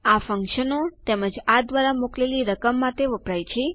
આ ફ્ન્ક્શનો તેમજ આ દ્વારા મોકલેલી રકમ માટે પણ વપરાય છે